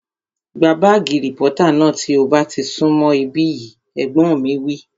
Gba bààgì rìpọ́tà náà tí ó bá ti sún mọ̀ ibí yìí! Ẹ̀gbọ́n mi wí